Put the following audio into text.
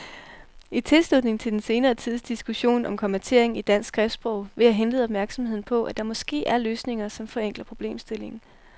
I tilslutning til den senere tids diskussion om kommatering i dansk skriftsprog vil jeg henlede opmærksomheden på, at der måske er løsninger, som forenkler problemstillingen.